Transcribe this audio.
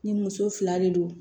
Ni muso fila de don